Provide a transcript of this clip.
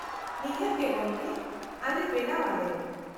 -ᱱᱤᱦᱟᱹᱛ ᱜᱮ ᱜᱚᱢᱠᱮ, ᱟᱞᱮ ᱵᱮᱱᱟᱣ ᱟᱞᱮ ᱾